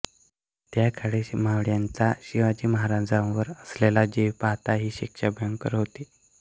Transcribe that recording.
त्याकाळी मावळ्यांचा शिवाजीमहाराजांवर असलेला जीव पाहता ही शिक्षा भयंकर होती